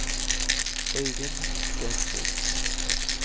Øivind Stensrud